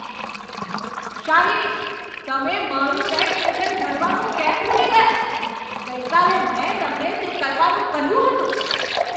શાલિની, તમે મારું tax return ભરવાનું કેમ ભૂલી ગયાં? ગઈકાલે મેં તમને તે કરવાનું કહ્યું હતું.